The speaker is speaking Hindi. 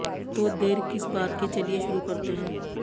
तो देर किस बात की चलिये शुरु करते हैं